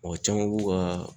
Mɔgɔ caman b'u ka